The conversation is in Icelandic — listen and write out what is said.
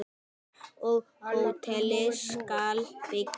Og hótelið skal byggt.